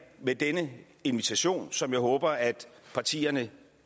med denne invitation som jeg håber at partierne